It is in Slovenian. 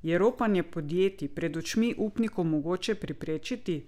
Je ropanje podjetij pred očmi upnikov mogoče preprečiti?